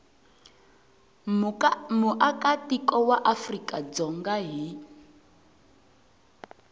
muakatiko wa afrika dzonga hi